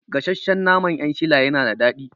Gasashshen naman 'yan shila yana da daɗi